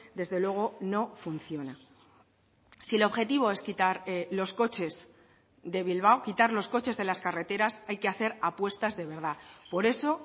desde luego no funciona si el objetivo es quitar los coches de bilbao quitar los coches de las carreteras hay que hacer apuestas de verdad por eso